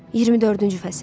24-cü fəsil.